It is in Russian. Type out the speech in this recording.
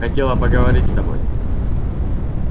хотела поговорить с тобой